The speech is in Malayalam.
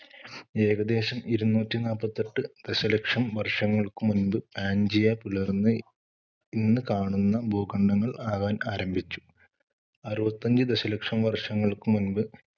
ഏകദേശം ഇരുനൂറ്റി നാപ്പത്തെട്ട് ദശലക്ഷം വർഷങ്ങൾക്കു മുൻപ് പാൻജിയ പിളർന്ന് ഇന്ന് കാണുന്ന ഭൂഖണ്ഡങ്ങൾ ആകാൻ അരംഭിച്ചു. അറുപത്തിഅഞ്ച് ദശലക്ഷം വർഷങ്ങൾക്കു മുൻപ്